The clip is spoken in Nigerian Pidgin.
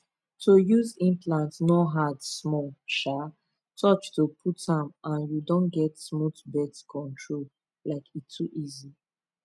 to use implant no hard small um touch to put m and you don get smooth birth control like e too easy